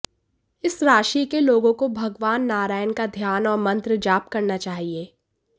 इस राशि के लोगों को भगवान नारायण का ध्यान और मंत्र जाप करना चाहिए